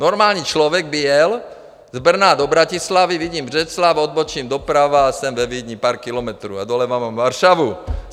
Normální člověk by jel z Brna do Bratislavy, vidím Břeclav, odbočím doprava a jsem ve Vídni, pár kilometrů, a doleva mám Varšavu.